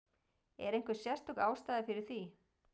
Er einhver sérstök ástæða fyrir því?